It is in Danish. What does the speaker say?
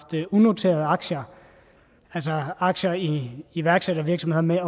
unoterede aktier altså aktier i iværksættervirksomheder med